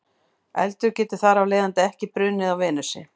Eldur getur þar af leiðandi ekki brunnið á Venusi.